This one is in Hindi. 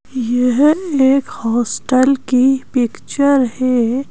यह एक हॉस्टल की पिक्चर है।